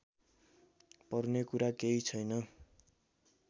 पर्ने कुरा केही छैन